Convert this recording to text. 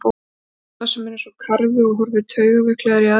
Dodda sem er eins og karfi og horfir taugaveiklaður í aðra átt.